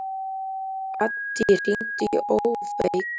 Addý, hringdu í Ófeig.